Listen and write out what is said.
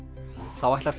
þá ætlar